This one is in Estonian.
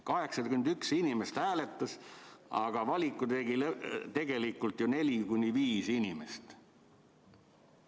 81 inimest hääletas, aga valiku tegi tegelikult ju 4–5 inimest.